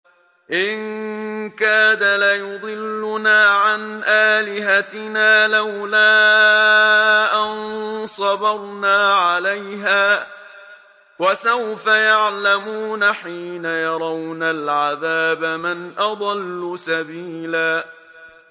إِن كَادَ لَيُضِلُّنَا عَنْ آلِهَتِنَا لَوْلَا أَن صَبَرْنَا عَلَيْهَا ۚ وَسَوْفَ يَعْلَمُونَ حِينَ يَرَوْنَ الْعَذَابَ مَنْ أَضَلُّ سَبِيلًا